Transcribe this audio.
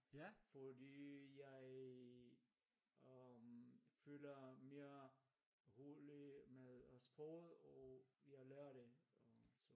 Fordi jeg øhm føler mere rolig med øh sproget og jeg lærer det og så